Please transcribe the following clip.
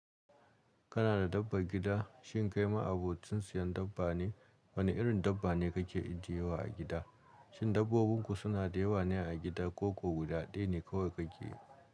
Kana da dabbar gida? Shin kai ma'abocin siyan dabba ne? Wane irin dabba ne kake ijiyewa a gida? Shin dabbobinku sunada yawa ne a gida koko guda ɗaya ne kawai kake yi?